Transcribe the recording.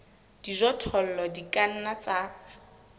dijothollo di ka nna tsa